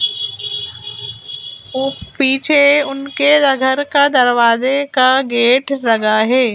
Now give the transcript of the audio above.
वो पीछे उनके घर का दरवाजे का गेट लगा है।